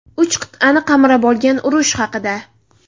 Uch qit’ani qamrab olgan urush haqida.